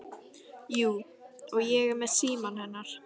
Jú, og ég er með símann hennar.